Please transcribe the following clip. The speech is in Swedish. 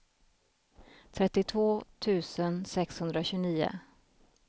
trettiotvå tusen sexhundratjugonio